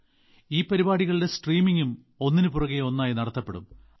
ഈ പരിപാടികളുടെ സ്ട്രീമിംഗും ഒന്നിനുപുറകെ ഒന്നായി നടത്തപ്പെടും